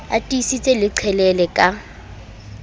a tiise le qhelele ka